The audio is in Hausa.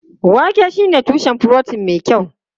Wake shine tushen furotin mai kyau.